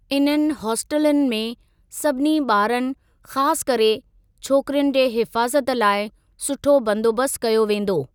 इन्हनि हॉस्टिलुनि में सभिनी ॿारनि ख़ासि करे छोकिरियुनि जे हिफाज़त लाइ सुठो बंदोबस्त कयो वेंदो।